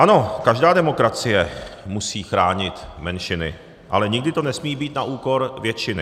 Ano, každá demokracie musí chránit menšiny, ale nikdy to nesmí být na úkor většiny.